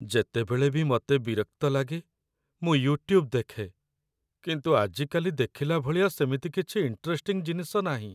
ଯେତେବେଳେ ବି ମତେ ବିରକ୍ତ ଲାଗେ, ମୁଁ ୟୁଟ୍ୟୁବ୍ ଦେଖେ । କିନ୍ତୁ ଆଜିକାଲି ଦେଖିଲା ଭଳିଆ ସେମିତି କିଛି ଇଣ୍ଟରେଷ୍ଟିଂ ଜିନିଷ ନାହିଁ ।